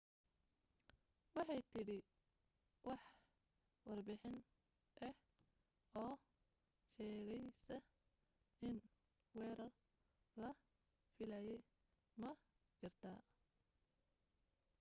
waxay tidhi wax warbixin ah oo sheegaysa in weerar la filayay ma jirto